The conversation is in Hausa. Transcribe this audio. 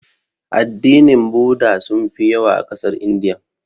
Addinin budda sunfi yawa a ƙasar Indiya.